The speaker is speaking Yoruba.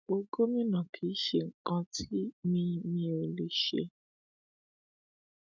ipò gómìnà kì í ṣe nǹkan tí mi mi ò lè ṣe